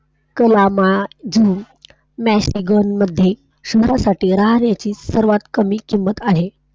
कलामा Juhu, Mexican मध्ये सर्वांसाठी राहण्याची सर्वात कमी किंमत आहे.